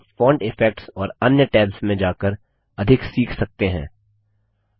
आप font effects और अन्य टैब्स में जाकर अधिक सीख सकते हैं